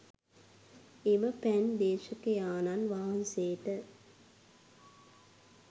එම පැන් දේශකයාණන් වහන්සේට